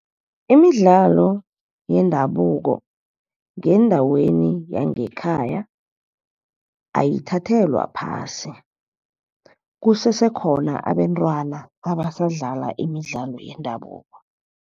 Imidlalo yendabuko ngendaweni yangekhaya ayithathelwa phasi kusesekhona abentwana abasadlala imidlalo yendabuko.